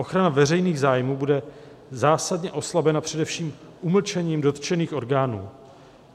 Ochrana veřejných zájmů bude zásadně oslabena především umlčením dotčených orgánů.